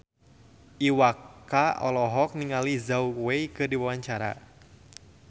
Iwa K olohok ningali Zhao Wei keur diwawancara